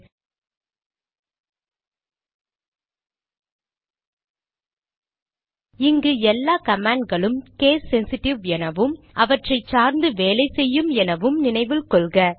httpspoken tutorialorg இங்கு எல்லா command களும் கேஸ் சென்சிட்டிவ் எனவும் அவற்றை சார்ந்து வேலை செய்யும் என நினைவில் கொள்க